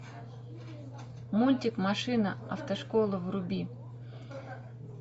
мультик машина автошкола вруби